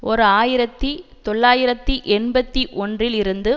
ஓர் ஆயிரத்தி தொள்ளாயிரத்தி எண்பத்தி ஒன்றில் இருந்து